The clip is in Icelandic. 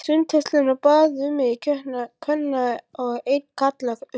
Sundhöllinni og bað um einn kvenna og einn karla, uppi.